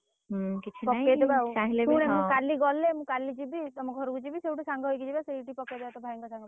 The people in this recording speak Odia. ମୁଁ କାଲି ଗଲେ ମୁଁ କାଲି ଯିବି ତମ ଘରକୁ ଯିବି ସେଇଠୁ ସାଙ୍ଗ ହେଇକି ଯିବା ସେଇଠି ପକେଇଦବା ତୋ ଭାଇଙ୍କ ସାଙ୍ଗ ପାଖରେ।